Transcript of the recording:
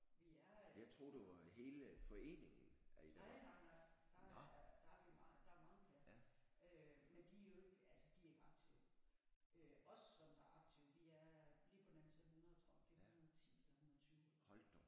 Vi er øh nej nej nej der er der er vi meget der er mange flere øh men de er jo ikke altså de er jo ikke aktive øh os som er aktive vi er lige på den anden side af 100 tror nok det er 110 eller 120 eller